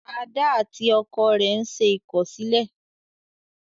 Ada àti ọkọ rẹ n'se ikọsilẹ